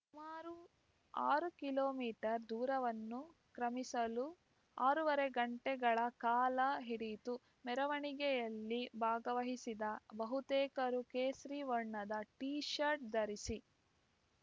ಸುಮಾರು ಆರು kilometre ದೂರವನ್ನು ಕ್ರಮಿಸಲು ಆರೂವರೆ ಗಂಟೆಗಳ ಕಾಲ ಹಿಡಿಯಿತು ಮೆರವಣಿಗೆಯಲ್ಲಿ ಭಾಗವಹಿಸಿದ ಬಹುತೇಕರು ಕೇಸರಿ ವರ್ಣದ ಟೀಶರ್ಟ್‌ ಧರಿಸಿ